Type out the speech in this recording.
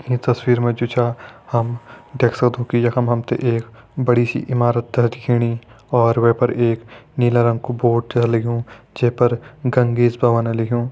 ईं तस्वीर मा जु चा हम देख सक्दों कि यखम हम ते एक बड़ी सी इमारत दिखेणी और वै पर एक नीला रंग कु बोर्ड छ लग्युं जै पर गंगेस भवन लिख्युं।